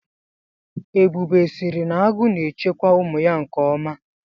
Ebube sịrị nagu na-echekwa ụmụ ya nkeọma.